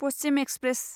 Paschim express